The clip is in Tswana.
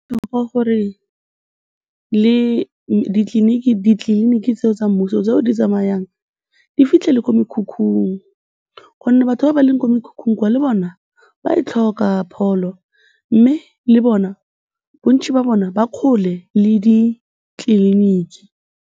Go botlhokwa gore le ditleliniki tseo tsa mmuso tseo di tsamayang di fitlhe le ko mekhukhung gonne batho ba ba leng ko mekhukhung kwa, le bona ba e tlhoka pholo mme le bona, bontsi ba bona, ba kgole le ditleliniki.